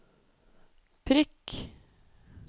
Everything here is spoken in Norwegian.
prikk